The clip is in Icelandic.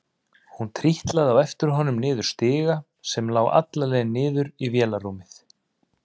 Hún trítlaði á eftir honum niður stiga sem lá alla leið niður í vélarrúmið.